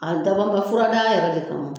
A dabɔra furadaa yɛrɛ de kama